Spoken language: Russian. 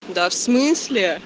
да в смысле